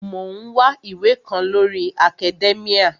Mò ń wá ìwé kan lórii akadẹ́míà